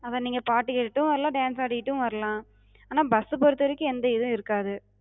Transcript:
அதா நீங்க பாட்டு கேட்டுட்டு வரலா, dance ஆடிட்டு வரலா. ஆனா bus சப் பொறுத்த வரைக்கு எந்த இது இருக்காது.